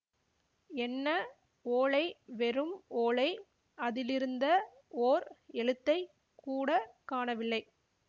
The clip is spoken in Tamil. என்ன ஓலை வெறும் ஓலை அதிலிருந்த ஓர் எழுத்தைக் கூட காணவில்லை